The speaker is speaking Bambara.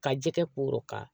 Ka jɛgɛ koroka